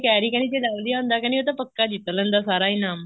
ਕਹਿ ਰਹੀ ਕਹਿੰਦੀ ਜ਼ੇ lovely ਆਉਦਾ ਕਹਿੰਦੀ ਉਹ ਤਾਂ ਪੱਕਾ ਜਿੱਤ ਲੈਂਦਾ ਸਾਰਾ ਇਨਾਮ